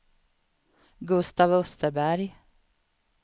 Gustav Österberg